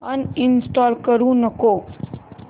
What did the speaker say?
uninstall करू नको